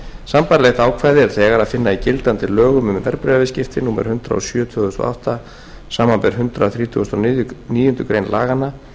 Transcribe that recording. sambærilegt ákvæði er þegar að finna í gildandi lögum um verðbréfaviðskipti númer hundrað og sjö tvö þúsund og átta samanber hundrað þrítugasta og níundu grein laganna